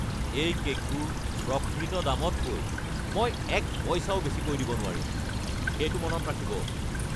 এই কে'কটোৰ প্ৰকৃত দামতকৈ মই এক পইচাও বেছিকৈ দিব নোৱাৰিম! সেইটো মনত ৰাখিব!